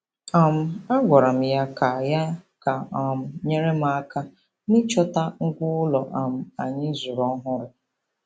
um A gwara m ya ka m ya ka o um nyere m aka n'ịchọta ngwa ụlọ um anyị zụrụ ọhụrụ.